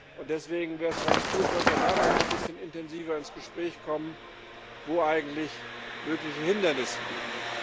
Und deswegen wäre es ganz gut, wenn wir da noch mal ein bisschen intensiver ins Gespräch kommen, wo eigentlich mögliche Hindernisse liegen.